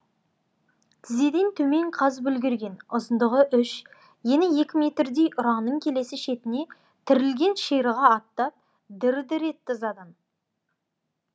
тізеден төмен қазып үлгерген ұзындығы үш ені екі метрдей ұраның келесі шетіне тірілген ширыға аттап дір дір етті ызадан